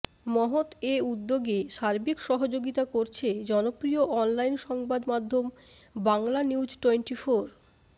মহৎ এ উদ্যোগে সার্বিক সহযোগিতা করছে জনপ্রিয় অনলাইন সংবাদ মাধ্যম বাংলানিউজটোয়েন্টিফোর